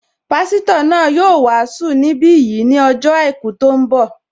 Pásítọ̀ náà yóò wàásù ní bí yìí ní ọjọ́ àìkú tó ń bọ̀